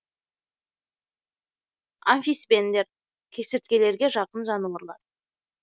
амфисбендер кесірткелерге жақын жануарлар